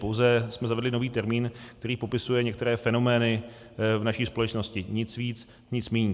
Pouze jsme zavedli nový termín, který popisuje některé fenomény v naší společnosti, nic víc, nic míň.